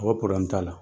A ko t'a la